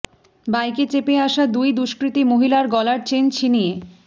বাইকে চেপে আসা দুই দুষ্কৃতী মহিলার গলার চেন ছিনিয়ে